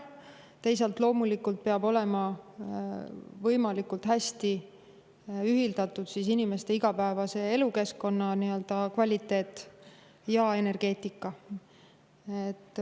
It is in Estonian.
Teisalt, loomulikult peavad olema võimalikult hästi ühildatud inimeste igapäevase elukeskkonna kvaliteet ja energeetika.